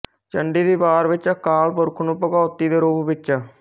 ਚੰਡੀ ਦੀ ਵਾਰ ਵਿੱਚ ਅਕਾਲ ਪੁਰਖ ਨੂੰ ਭਗਉਤੀ ਦੇ ਰੂਪ ਵਿਚ